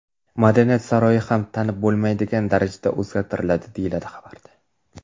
Madaniyat saroyi ham tanib bo‘lmaydigan darajada o‘zgartiriladi, deyiladi xabarda.